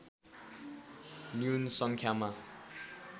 न्यून सङ्ख्यामा